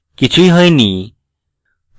কিছুই হয়নি